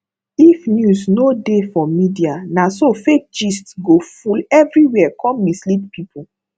if news no dey for media naso fake gist go full everywhere come mislead people